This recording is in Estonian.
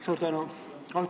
Suur tänu!